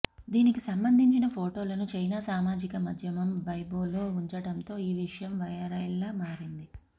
దీనికి సంబంధించిన ఫొటోలను చైనా సామాజిక మాధ్యమం వైబోలో ఉంచడంతో ఈ విషయం వైరల్గా మారింది